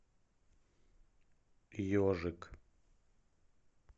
ежик